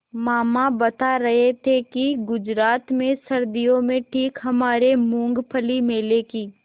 मामा बता रहे थे कि गुजरात में सर्दियों में ठीक हमारे मूँगफली मेले की